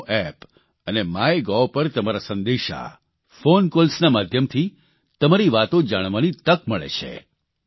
નમો app અને MyGov પર તમારા સંદેશા ફોન કોલ્સના માધ્યમથી તમારી વાતો જાણવાની તક મળે છે